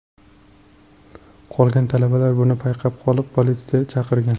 Qolgan talabalar buni payqab qolib, politsiya chaqirgan .